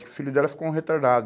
O filho dela ficou um retardado.